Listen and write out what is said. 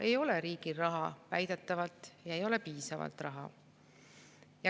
Ei ole riigil raha, väidetavalt ei ole piisavalt raha.